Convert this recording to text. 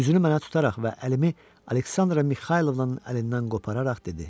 Üzünü mənə tutaraq və əlimi Aleksandra Mixaylovnanın əlindən qopararaq dedi.